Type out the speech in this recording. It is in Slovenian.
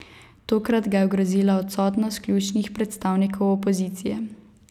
Tokrat ga je ogrozila odsotnost ključnih predstavnikov opozicije.